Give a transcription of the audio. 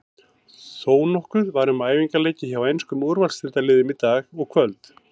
Þónokkuð var um æfingaleiki hjá enskum úrvalsdeildarliðum í dag og kvöld.